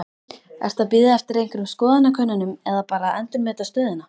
Ertu að bíða eftir einhverjum skoðanakönnunum eða bara endurmeta stöðuna?